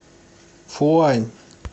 фуань